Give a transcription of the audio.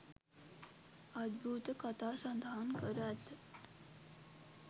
අද්භූත කතා සඳහන් කර ඇත